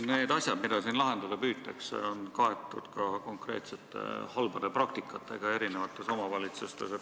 Need asjad, mida siin lahendada püütakse, kajastuvad ka konkreetsetes halbades praktikates eri omavalitsustes.